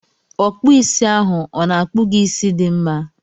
Ọkpụisi ahụ ọ na-akpu gị isi dị mma?